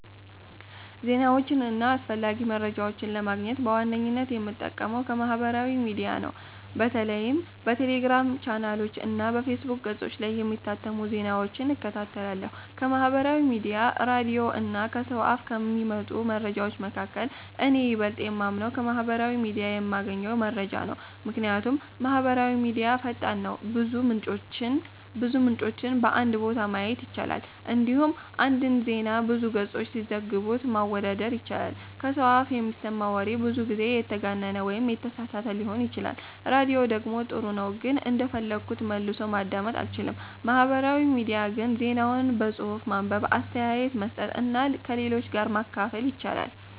ዜናዎችን እና አስፈላጊ መረጃዎችን ለማግኘት በዋነኝነት የምጠቀመው ከማህበራዊ ሚዲያ ነው። በተለይም በቴሌግራም ቻናሎች እና በፌስቡክ ገጾች ላይ የሚታተሙ ዜናዎችን እከታተላለሁ። ከማህበራዊ ሚዲያ፣ ራዲዮ እና ከሰው አፍ ከሚመጡ መረጃዎች መካከል፣ እኔ የበለጠ የማምነው ከማህበራዊ ሚዲያ የምገኘውን መረጃ ነው። ምክንያቱም ማህበራዊ ሚዲያ ፈጣን ነው፣ ብዙ ምንጮችን በአንድ ቦታ ማየት ይቻላል፣ እንዲሁም አንድን ዜና ብዙ ገጾች ሲዘግቡት ማወዳደር ይቻላል። ከሰው አፍ የሚሰማ ወሬ ብዙ ጊዜ የተጋነነ ወይም የተሳሳተ ሊሆን ይችላል። ራዲዮ ደግሞ ጥሩ ነው ግን እንደፈለግኩ መልሶ ማዳመጥ አልችልም። ማህበራዊ ሚዲያ ግን ዜናውን በጽሁፍ ማንበብ፣ አስተያየት መስጠት እና ከሌሎች ጋር ማካፈል ያስችላል።